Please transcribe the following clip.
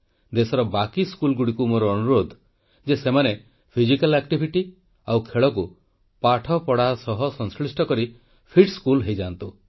ଦେଶର ବାକି ସ୍କୁଲଗୁଡ଼ିକୁ ମୋର ଅନୁରୋଧ ଯେ ସେମାନେ ଫିଜିକାଲ୍ ଆକ୍ଟିଭିଟି ଓ ଖେଳକୁ ପାଠପଢ଼ା ସହ ସଂଶ୍ଳିଷ୍ଟ କରି ଫିଟ୍ ସ୍କୁଲ ହୋଇଯାଆନ୍ତୁ